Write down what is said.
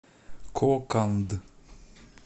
коканд